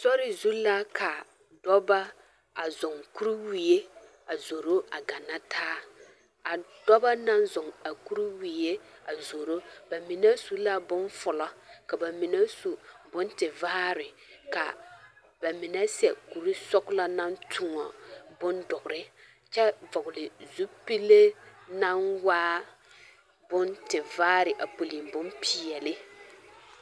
Sori zu la ka dɔbɔ a zɔɔ kuriwie a zoro a bana taa a dɔbɔ naŋ zɔɔ a kuriwie a zoro ba mine su la boŋ fulo ka ba mine su boŋ tevaare ka ba mine sɛ kuri sɔglɔ naŋ toɔ boŋ dɔre kyɛ vɔgle zupile naŋ waa boŋ tevaare puli bompeɛle.